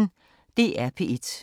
DR P1